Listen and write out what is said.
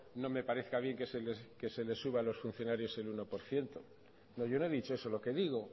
no me parezca bien que se le suba a los funcionarios el uno por ciento no yo no he dicho eso lo que digo